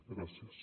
gràcies